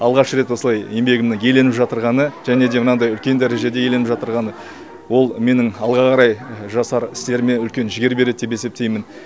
алғаш рет осылай еңбегімнің еленіп жатырғаны және де мынандай үлкен дәрежеде еленіп жатырғаны ол менің алға қарай жасар істеріме үлкен жігер береді деп есептеймін